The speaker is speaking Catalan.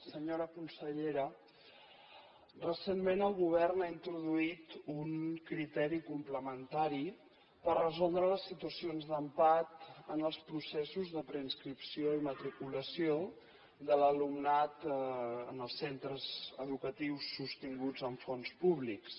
senyora consellera recentment el govern ha introduït un criteri complementari per resoldre les situacions d’empat en els processos de preinscripció i matriculació de l’alumnat en els centres educatius sostinguts amb fons públics